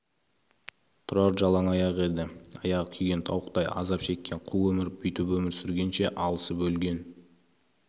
тұрар жалаң аяқ еді аяғы күйген тауықтай азап кешкен қу өмір бүйтіп өмір сүргенше алысып өлген